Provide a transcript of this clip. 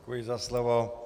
Děkuji za slovo.